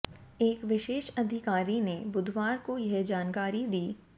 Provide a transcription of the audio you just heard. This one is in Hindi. एक विशेष अधिकारी ने बुधवार को यह जानकारी दी